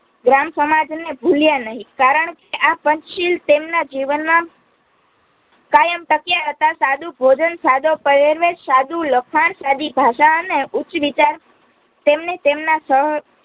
ગ્રામ સમાજને ભૂલ્યા નહીં. કારણ આ પંચશીલ તેમના જીવનમાં કાયમ ટક્યા હતા સદુ ભોજન, સદો પહેરવેશ, સદુ લખાણ, સદી ભાષા અને ઉચ્ચ વિચાર તેમને તેમના સહ